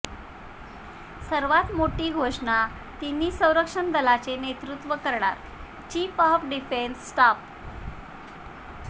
सर्वात मोठी घोषणाः तिन्ही संरक्षण दलांचे नेतृत्व करणार चीफ ऑफ डिफेन्स स्टाफ